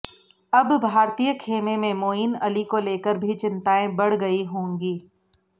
अब भारतीय खेमे में मोइन अली को लेकर भी चिंताएं बढ़ गई होंगी